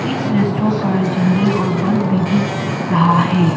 इस रेस्ट्रा पर झंडे और बल्ब भी दिख रहा है।